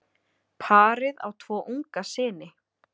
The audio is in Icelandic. Parið á tvo unga syni.